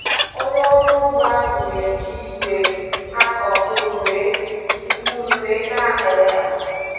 Onye ọrụ ugbo ahụ n'eji ìgwè akụ mkpụrụ wee mkpụrụ wee n'akụ ọkà